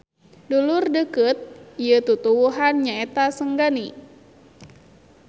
Dulur deukeut ieu tutuwuhan nyaeta senggani.